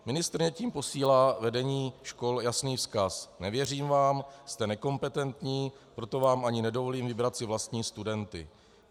Ministryně tím posílá vedení škol jasný vzkaz: Nevěřím vám, jste nekompetentní, proto vám ani nedovolím vybrat si vlastní studenty.